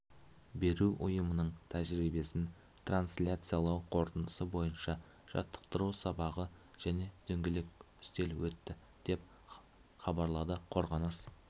беру ұйымының тәжірибесін трансляциялау қорытындысы бойынша жаттықтыру сабағы және дөңгелек үстел өтті деп хабарлады қорғаныс